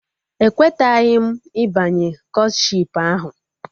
Ekweteghị m ịbanye Kọtshipu ahụ